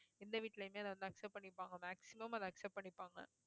எந்த வீட்லையுமே அதை வந்து accept பண்ணிப்பாங்க maximum அதை accept பண்ணிப்பாங்க